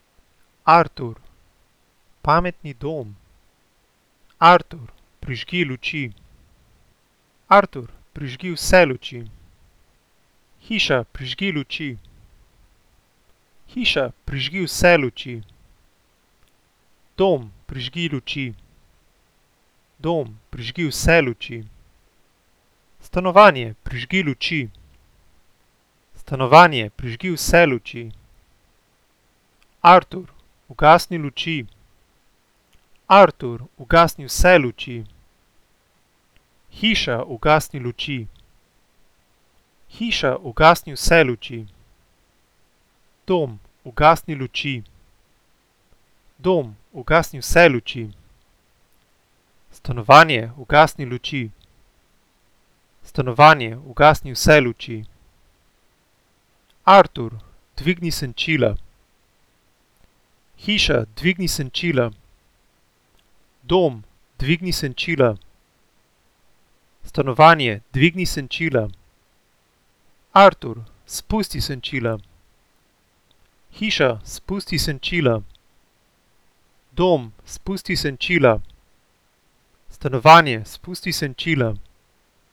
Artur. Pametni dom. Artur, prižgi luči. Artur, prižgi vse luči. Hiša, prižgi luči. Hiša, prižgi vse luči. Dom, prižgi luči. Dom, prižgi vse luči. Stanovanje, prižgi luči. Stanovanje, prižgi vse luči. Artur, ugasni luči. Artur, ugasni vse luči. Hiša, ugasni luči. Hiša, ugasni vse luči. Dom, ugasni luči. Dom, ugasni vse luči. Stanovanje, ugasni luči. Stanovanje, ugasni vse luči. Artur, dvigni senčila. Hiša, dvigni senčila. Dom, dvigni senčila. Stanovanje, dvigni senčila. Artur, spusti senčila. Hiša, spusti senčila. Dom, spusti senčila. Stanovanje, spusti senčila.